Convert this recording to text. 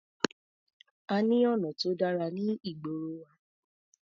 A ní ọ̀nà tó dára ní ìgboro wa.